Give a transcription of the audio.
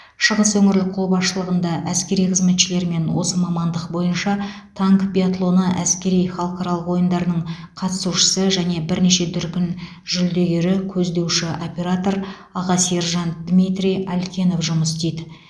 шығыс өңірлік қолбасшылығында әскери қызметшілермен осы мамандық бойынша танк биатлоны әскери халықаралық ойындарының қатысушысы және бірнеше дүркін жүлдегері көздеуші оператор аға сержант дмитрий алькенов жұмыс істейді